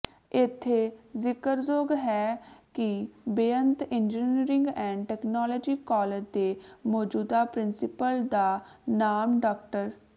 ਇੱਥੇ ਜਿਕਰਯੋਗ ਹੈ ਕਿ Beant engineering and technology college ਦੇ ਮੌਜੂਦਾ ਪ੍ਰਿੰਸੀਪਲ ਦਾ ਨਾਮ ਡਾ